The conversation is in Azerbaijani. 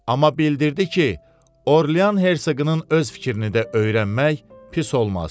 Amma bildirdi ki, Orlean Hersoqunun öz fikrini də öyrənmək pis olmaz.